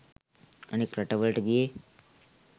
අනෙක් රටවලට ගියේ